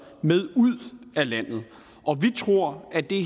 med ud af landet og vi tror at det